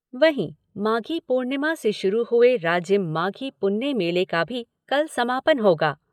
वहीं, माघी पूर्णिमा से शुरू हुए राजिम माघी पुन्नी मेले का भी कल समापन होगा।